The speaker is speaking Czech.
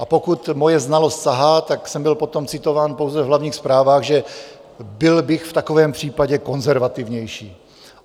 A pokud moje znalost sahá, tak jsem byl potom citován pouze v hlavních zprávách, že byl bych v takovémhle případě konzervativnější.